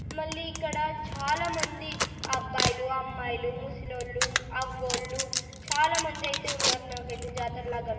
మళ్లీ ఇక్కడ చాలామంది అబ్బాయిలు అమ్మాయిలు ముసలోళ్ళు అవ్వోళ్ళు చాలామంది అయితే ఉన్నారు నాకైతే జాతర లాగా కనిపి --